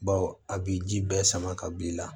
Baw a b'i ji bɛɛ sama ka b'i la